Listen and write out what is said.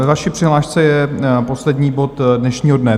Ve vaší přihlášce je poslední bod dnešního dne.